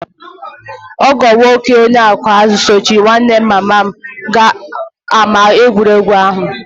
Ọgọ nwoke onye ọkụ azụ̀ sochiri nwanne mama m gaa ámá egwuregwu ahụ